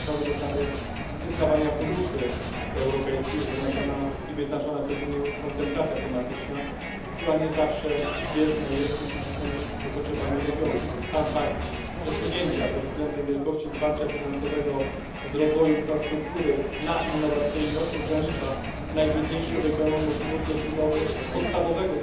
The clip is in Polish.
To również nowe zasady przyznawania funduszy europejskich, przeznaczona i wyznaczona przez Unię koncentracja tematyczna, która nie zawsze jest zbieżna rzeczywistymi potrzebami regionu. Już sam fakt przesunięcia pod względem wielkości wsparcia finansowego z rozwoju infrastruktury na innowacyjność ogranicza najbiedniejszym regionom możliwość rozbudowy ich podstawowego